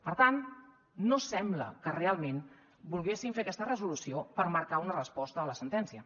per tant no sembla que realment volguessin fer aquesta resolució per marcar una resposta a la sentència